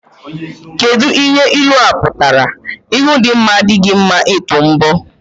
Kedụ ihe ilua pụtara? Ihu dị mma adịghị mma ịtụ mbọ.